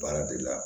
Baara de la